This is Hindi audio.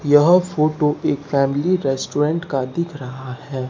यह फोटो एक फैमिली रेस्टोरेंट का दिख रहा है।